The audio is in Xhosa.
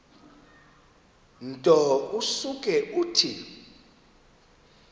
nto usuke uthi